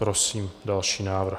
Prosím další návrh.